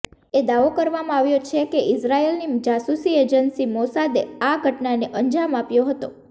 એ દાવો કરવામાં આવ્યો છે કે ઈઝરાયલની જાસૂસી એજેન્સી મોસાદે આ ઘટનાને અંજામ આપ્યો હતો